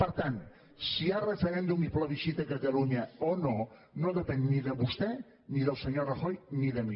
per tant si hi ha referèndum i plebiscit a catalunya o no no depèn ni de vostè ni del senyor rajoy ni de mi